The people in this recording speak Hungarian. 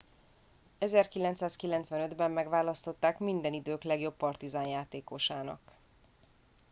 1995 ben megválasztották minden idők legjobb partizan játékosának